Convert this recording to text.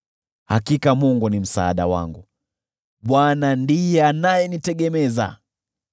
Hakika Mungu ni msaada wangu, Bwana ndiye anayenitegemeza.